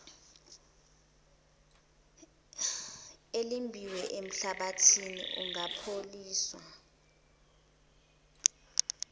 elimbiwe enhlabathini ungapholishwa